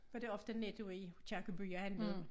Kørte jeg ofte i Netto i Aakirkey og handlede